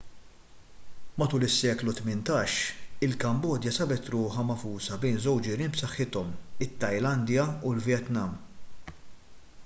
matul is-seklu 18 il-kambodja sabet ruħha magħfusa bejn żewġ ġirien b'saħħithom it-tajlandja u l-vjetnam